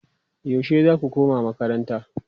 yaushe zaku koma makaranta?